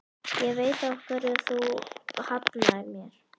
Ég veit af hverju þú hafnaðir mér.